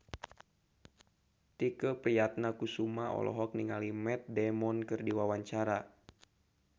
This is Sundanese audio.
Tike Priatnakusuma olohok ningali Matt Damon keur diwawancara